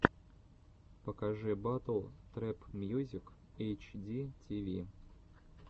покажи батл трэп мьюзик эйч ди ти ви